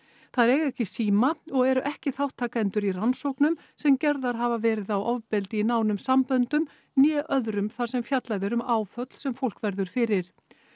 þær eiga ekki síma og eru ekki þátttakendur í rannsóknum sem gerðar hafa verið á ofbeldi í nánum samböndum né öðrum þar sem fjallað er um áföll sem fólk verður fyrir